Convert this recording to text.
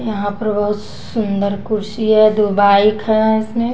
यहाँ पर बहुत सुसुसुंदर कुर्सी है दो बाइक है इसमें --